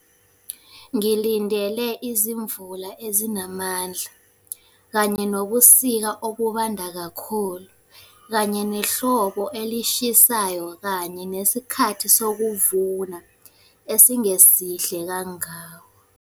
Ngilindele izimvula ezinamandla, kanye nobusika, obubanda kakhulu, kanye nehlobo elishisayo, kanye nesikhathi sokuvuna esingesihle kangako.